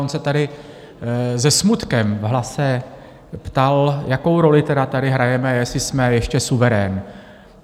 On se tady se smutkem v hlase ptal, jakou roli tady tedy hrajeme, jestli jsme ještě suverén.